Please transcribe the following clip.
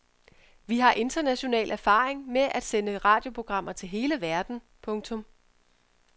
Vi har international erfaring med at sende radioprogrammer til hele verden. punktum